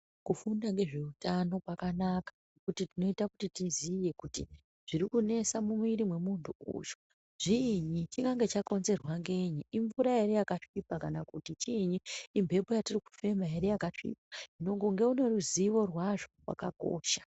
Kufunda ngezveutano kwakanaka kuti tinoita kuti tiziye kuti zvirikunesa mumwiri memuntu uyu zviinyi. Chinonga chakonzerwa nganyi imvura ere yakasvipa, kana kuti chiini inhepo yatiri kufema ere yakasvipa, nonga une ruzivo rwazvo rwakakosha.